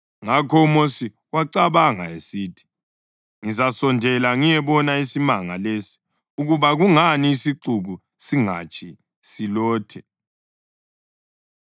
Ngakho uMosi wacabanga esithi, “Ngizasondela ngiyebona isimanga lesi ukuba kungani isixuku singatshi silothe.”